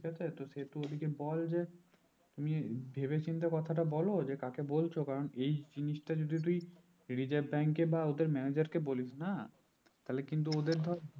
ঠিক আছে সে তুই ওদেরকে বল যে উম যে ভেবে চিনতে কথাটা বোলো যে কাকে বলছো কারণ এই জিনিসটা যদি তুই reserve bank এ বা ওদের manager কে বলিস না তাহলে কিন্তু ওদের ধর